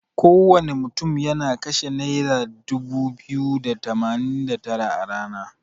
Kowana mutun yana kashe naira dubu biyu da tamanin da tara a rana.